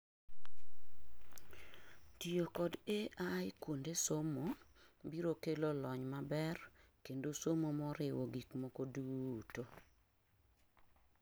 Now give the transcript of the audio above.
Tiyo kod AI kuonde somo biro kelo lony maber kendo somo moriwo gik moko duto